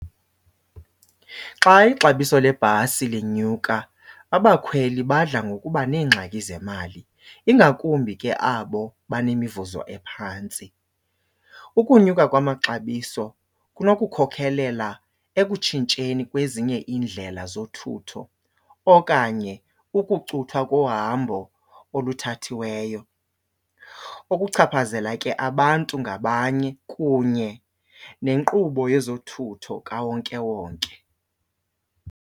Xa ixabiso lebhasi linyuka abakhweli badla ngokuba neengxaki zemali, ingakumbi ke abo banemivuzo ephantsi. Ukunyuka kwamaxabiso kunokukhokhelela ekutshintsheni kwezinye iindlela zothutho okanye ukucuthwa kohambo oluthathiweyo, okuchaphazela ke abantu ngabanye kunye nenkqubo yezothutho kawonkewonke.